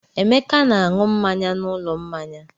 Emeka na-aṅụ mmanya n'ụlọ mmanya.